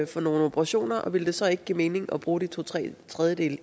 for nogen operationer og ville det så ikke give mening at bruge de to tredjedeles